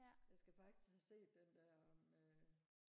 jeg skal faktisk have set den der med